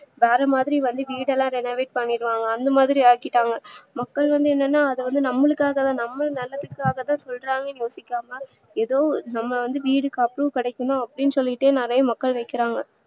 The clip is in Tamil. வேறமாதிரி வந்து வீடலா renovate பண்ணிடுவாங்க அந்த மாதிரி ஆக்கிட்டாங்க மக்கள் வந்து என்னன்னா அத வந்து நம்மளுக்காகதா நம்ம நல்லதுக்காகதா சொல்றாங்கன்னு யோசிக்காம ஏதோ நம்ம வீடு காசு கிடைக்குன்னா அப்டின்னு சொல்லிட்டு நிறைய மக்கள் வைக்கறாங்க